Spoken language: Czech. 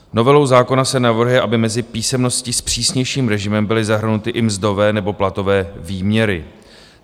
Novelou zákona se navrhuje, aby mezi písemnosti s přísnějším režimem byly zahrnuty i mzdové nebo platové výměry.